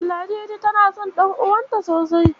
Ladidi tana son ɗan'uwanta sosai.